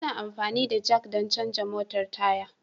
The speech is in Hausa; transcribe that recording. Ana amfani da Jack don canza motar Taya.